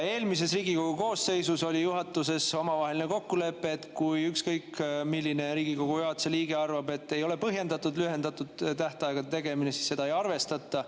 Eelmises Riigikogu koosseisus oli juhatuses omavaheline kokkulepe, et kui ükskõik milline Riigikogu juhatuse liige arvab, et ei ole põhjendatud lühendatud tähtaja tegemine, siis seda ei arvestata.